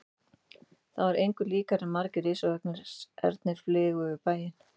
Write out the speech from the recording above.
Það var engu líkara en margir risavaxnir ernir flygju yfir bæinn.